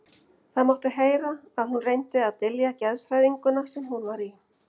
Það mátti heyra að hún reyndi að dylja geðshræringuna sem hún var í.